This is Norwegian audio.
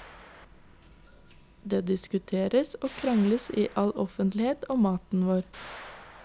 Det diskuteres og krangles i all offentlighet om maten vår.